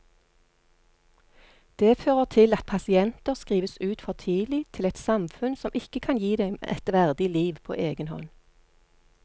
Det fører til at pasienter skrives ut for tidlig til et samfunn som ikke kan gi dem et verdig liv på egen hånd.